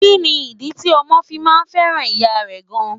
Kí ni ìdí tí ọmọ fi máa fẹ́ràn ìyá rẹ gan?